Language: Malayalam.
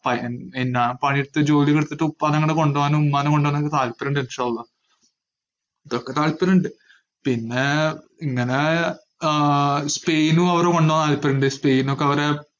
പ~ പിന്നാ പണിയെടുത്ത് ജോലിയൊക്കെ എടത്തിട്ട് ഉപ്പാനങ്ങട് കൊണ്ടോവാനും ഉമ്മാനെ കൊണ്ടോവാനും ഒക്കെ താത്പര്യണ്ട് ഇതൊക്കെ താല്പര്യണ്ട്. പിന്നെ ഇങ്ങനെ ആഹ് സ്പെയിനു അവരെ കൊണ്ടോവാൻ താത്പര്യണ്ട്. സ്പെയിനൊക്കെ അവരെ